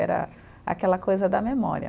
Era aquela coisa da memória.